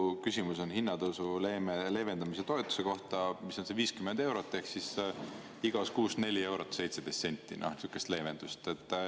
Minu küsimus on hinnatõusu leevendamise toetuse kohta, mis on 50 eurot ehk igas kuus 4 eurot 17 senti sihukest leevendust.